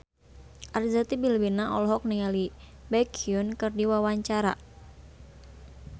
Arzetti Bilbina olohok ningali Baekhyun keur diwawancara